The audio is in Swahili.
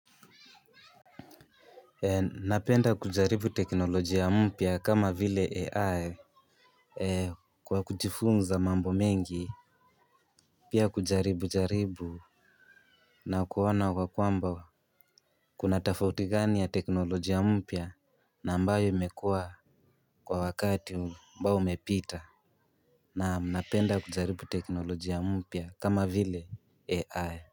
Napenda kujaribu teknolojia mpya kama vile AI, Kwa kujifunza mambo mengi. Pia kujaribu jaribu na kuona kwa kwamba kuna tafauti gani ya teknolojia mpya na ambayo imekua kwa wakati ambao umepita. Naam napenda kujaribu teknolojia mpya kama vile AI.